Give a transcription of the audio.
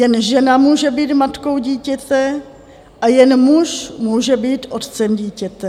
Jen žena může být matkou dítěte a jen muž může být otcem dítěte.